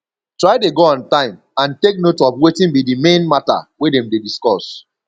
try de go on time and take note of wetin be di main matter wey dem de discuss